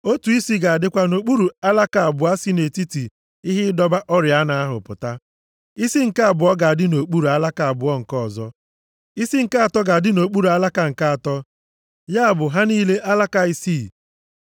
Otu isi ga-adịkwa nʼokpuru alaka abụọ si nʼetiti ihe ịdọba oriọna ahụ pụta. Isi nke abụọ ga-adị nʼokpuru alaka abụọ nke ọzọ. Isi nke atọ ga-adị nʼokpuru alaka nke atọ, ya bụ ha niile alaka isii.